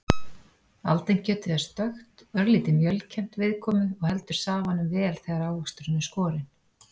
Aldinkjötið er stökkt, örlítið mjölkennt viðkomu og heldur safanum vel þegar ávöxturinn er skorinn.